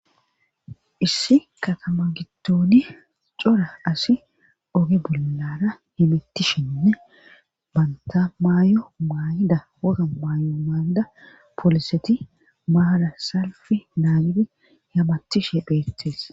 Issi katama giddoni cora asi oge bollara hemittishenne bantta maayo maayida wora maayo maayida pooliseti maara salfi naagidi hamatishe beettes.